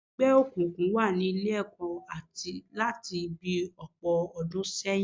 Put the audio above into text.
Àwọn ẹgbẹ́ òkùnkùn wà ni Ilé-ẹ̀kọ́ láti bi ọ̀pọ̀ ọdún sẹ́yìn